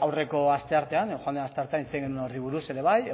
aurreko asteartean joan den asteartean hitz egin genuen horri buruz ere bai